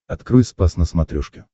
открой спас на смотрешке